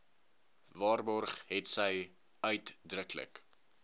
waarborg hetsy uitdruklik